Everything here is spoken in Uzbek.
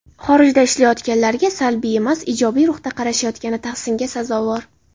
Xorijda ishlayotganlarga salbiy emas, ijobiy ruhda qarashayotgani tahsinga sazovor.